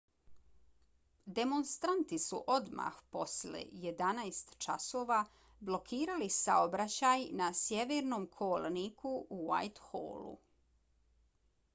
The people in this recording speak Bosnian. demonstranti su odmah posle 11:00 časova blokirali saobraćaj na sjevernom kolniku u whitehallu